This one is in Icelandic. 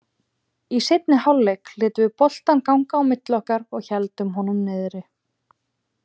Í seinni hálfleik létum við boltann ganga á milli okkar og héldum honum niðri.